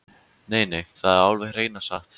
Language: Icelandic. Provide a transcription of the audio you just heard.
Nei, nei, þetta er alveg hreina satt!